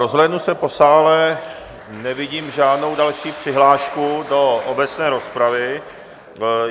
Rozhlédnu se po sále, nevidím žádnou další přihlášku do obecné rozpravy.